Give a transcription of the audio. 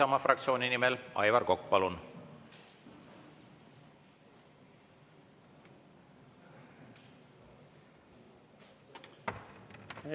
Isamaa fraktsiooni nimel Aivar Kokk, palun!